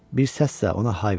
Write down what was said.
Bir səs də ona hay verdi.